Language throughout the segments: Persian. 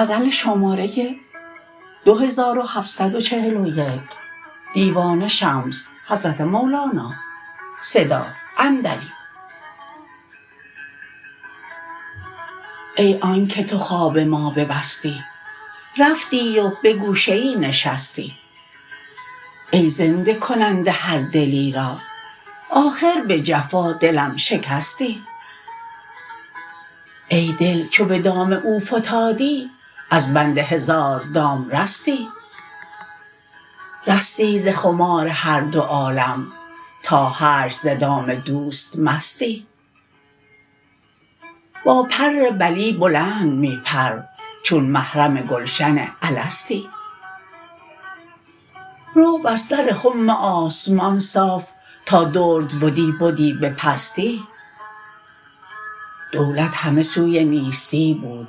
ای آنک تو خواب ما ببستی رفتی و به گوشه ای نشستی ای زنده کننده هر دلی را آخر به جفا دلم شکستی ای دل چو به دام او فتادی از بند هزار دام رستی رستی ز خمار هر دو عالم تا حشر ز دام دوست مستی با پر بلی بلند می پر چون محرم گلشن الستی رو بر سر خم آسمان صاف تا درد بدی بدی به پستی دولت همه سوی نیستی بود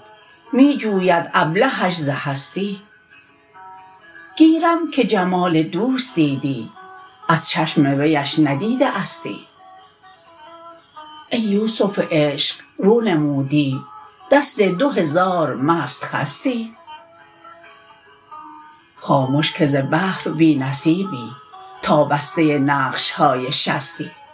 می جوید ابلهش ز هستی گیرم که جمال دوست دیدی از چشم ویش ندیده استی ای یوسف عشق رو نمودی دست دو هزار مست خستی خامش که ز بحر بی نصیبی تا بسته نقش های شستی